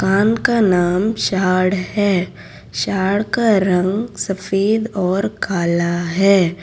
कान का नाम शार्ड है शार्ड का रंग सफेद और कला है।